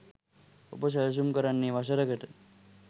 ඔබ සැළසුම් කරන්නේ වසරකට